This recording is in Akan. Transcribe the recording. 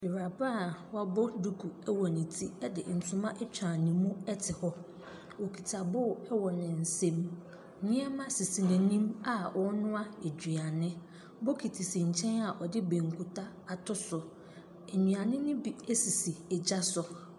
Ewuraba wabɔ duku ɛwɔ ne ti ɛde ntoma atwa ne mu ɛte hɔ. Ɔkita boo ɛwɔ ne nsam. Neɛma sisi na nim a ɔnoa aduane. Bokiti si nkyɛn a ɔde bankuta ato so. Enuane no bi ɛsisi ɛgyaso.